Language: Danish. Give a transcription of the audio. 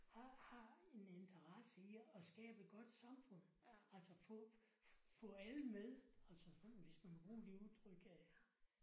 Har har en interesse i at skabe et godt samfund. Altså få få alle med altså sådan hvis man må bruge det udtryk